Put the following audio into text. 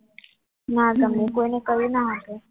ના તમને કોઈને કહ્યું ના હશે